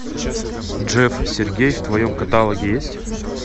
джефф сьергей в твоем каталоге есть